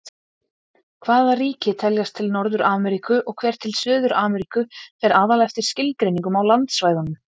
Hvaða ríki teljast til Norður-Ameríku og hver til Suður-Ameríku fer aðallega eftir skilgreiningum á landsvæðunum.